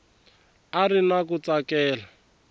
a ri na ku tsakela